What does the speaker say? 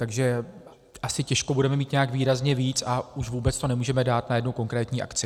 Takže asi těžko budeme mít nějak výrazně víc, a už vůbec to nemůžeme dát na jednu konkrétní akci.